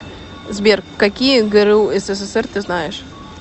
сбер какие гру ссср ты знаешь